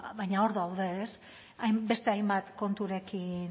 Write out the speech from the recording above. baina hor daude beste hainbat konturekin